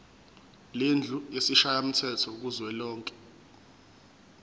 lendlu yesishayamthetho kuzwelonke